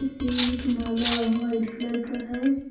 यह एक माला व्हाइट कलर का है।